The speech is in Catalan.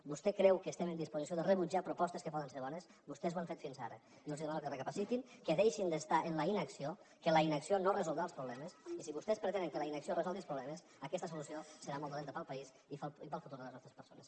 vostè creu que estem en disposició de rebutjar propostes que poden ser bones vostès ho han fet fins ara jo els demano que recapacitin que deixin d’estar en la inacció que la inacció no resoldrà els problemes i si vostès pretenen que la inacció resolgui els problemes aquesta solució serà molt dolenta per al país i per al futur de les nostres persones